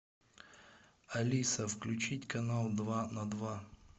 алиса включить канал два на два